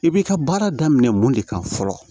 I b'i ka baara daminɛ mun de kan fɔlɔ